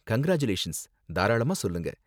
Congratulations, தாராளமா சொல்லுங்க.